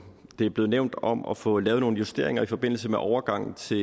det er blevet nævnt om at få lavet nogle justeringer i forbindelse med overgangen til